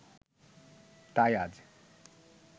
তাই আজ